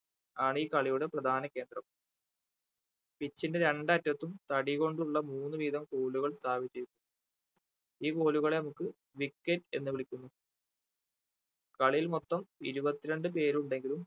ആണ് ഈ കളിയുടെ പ്രധാന കേന്ദ്രം pitch ന്റെ രണ്ട് അറ്റത്തും തടികൊണ്ടുള്ള മൂന്ന് വീതം കോലുകൾ സ്ഥാപിച്ചിരിക്കുന്നു ഈ കോലുകളെ നമുക്ക് wicket എന്ന് വിളിക്കുന്നു കളിയിൽ മൊത്തം ഇരുപത്തി രണ്ട് പേരുണ്ടെങ്കിലും